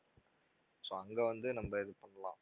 so அங்க வந்து நம்ம இது பண்ணலாம்